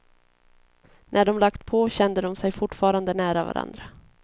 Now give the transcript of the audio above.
När de lagt på kände de sig fortfarande nära varandra.